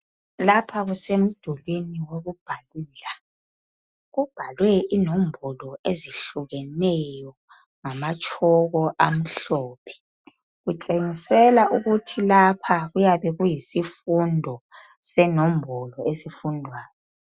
Lapha kusemdulini wokubhalela kubhalwe inombolo ezihlukeneyo ngamatshoko amhlophe kutshengisela ukuthi lapha kuyabe kuyisifundo senombolo esifundwayo.